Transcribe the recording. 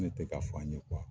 tɛ ka f'an ye